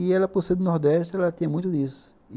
E ela, por ser do Nordeste, ela tinha muito disso.